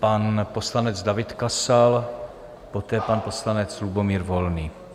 Pan poslanec David Kasal, poté pan poslanec Lubomír Volný.